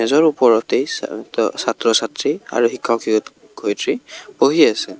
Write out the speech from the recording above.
য'ৰ ওপৰতে চাত-ছাত্ৰ-ছাত্ৰী আৰু শিক্ষক শিক্ষয়ত্ৰী বহি আছে।